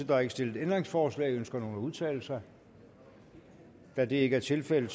der er ikke stillet ændringsforslag ønsker nogen at udtale sig da det ikke er tilfældet